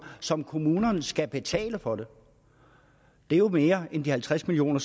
som kommunerne skal betale for det det er jo mere end de halvtreds million